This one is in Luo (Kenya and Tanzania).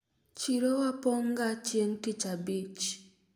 chiro wa pong' ga chieng' tich abich